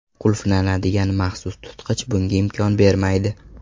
Qulflanadigan maxsus tutqich bunga imkon bermaydi.